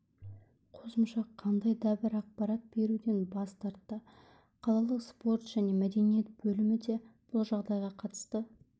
қосымша қандай дабір ақпарат беруден бас тартты қалалық спорт және мәдениет бөлімі де бұл жағдайға қатысты